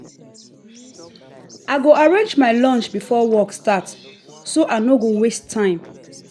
i go arrange my lunch before work start so i no go waste time.